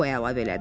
o əlavə elədi.